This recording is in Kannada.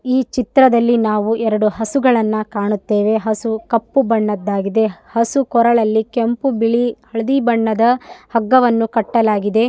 ಈ ಚಿತ್ರದಲ್ಲಿ ನಾವು ಎರಡು ಹಸುಗಳನ್ನ ಕಾಣುತ್ತೇವೆ. ಹಸು ಕಪ್ಪು ಬಣ್ಣದ್ದಾಗಿದೆ. ಹಸು ಕೊರಳಲ್ಲಿ ಕೆಂಪು ಬಿಳಿ ಹಳದಿ ಬಣ್ಣದ ಹಗ್ಗವನ್ನು ಕಟ್ಟಲಾಗಿದೆ.